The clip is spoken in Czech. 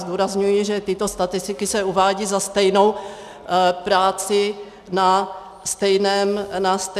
Zdůrazňuji, že tyto statistiky se uvádějí za stejnou práci na stejném místě.